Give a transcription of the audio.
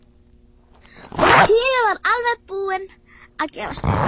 Og Týri var alveg búinn að gefast upp.